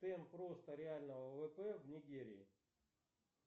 темп роста реального ввп в нигерии